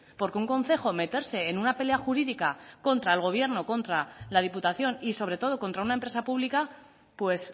porque un concejo meterse en una pelea jurídica contra el gobierno contra la diputación y sobre todo contra una empresa pública pues